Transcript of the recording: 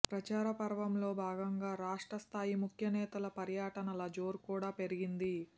ప్రచారపర్వంలో భాగంగా రాష్ట్ర స్థాయి ముఖ్యనేతల పర్యటనల జోరు కూడా పెరిగింది